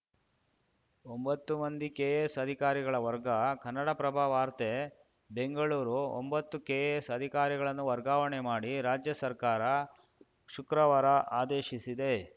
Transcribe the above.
ಒಂಬತ್ತು ಮಂದಿ ಕೆಎಎಸ್‌ ಅಧಿಕಾರಿಗಳ ವರ್ಗ ಕನ್ನಡಪ್ರಭ ವಾರ್ತೆ ಬೆಂಗಳೂರು ಒಂಬತ್ತು ಕೆಎಎಸ್‌ ಅಧಿಕಾರಿಗಳನ್ನು ವರ್ಗಾವಣೆ ಮಾಡಿ ರಾಜ್ಯ ಸರ್ಕಾರ ಶುಕ್ರವಾರ ಆದೇಶಿಸಿದೆ